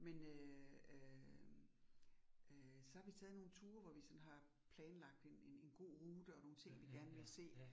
Men øh øh øh så har vi taget nogle ture, hvor vi sådan har planlagt en en en gode rute, og nogle ting vi gerne ville se